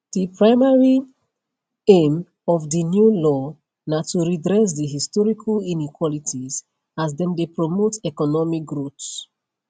di primary aimof di new law na to redress di historical inequalities as dem dey promote economic growth